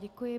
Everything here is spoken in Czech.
Děkuji.